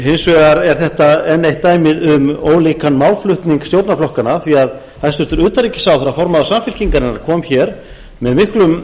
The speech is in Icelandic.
hins vegar er þetta enn eitt dæmið um ólíkan málflutning stjórnarflokkanna því að hæstvirtur utanríkisráðherra formaður samfylkingarinnar kom hér með miklum